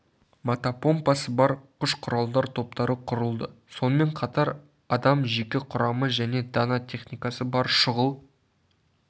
мотопомпасы бар кұш-құралдар топтары құрылды сонымен қатар адам жеке құрамы және дана техникасы бар шұғыл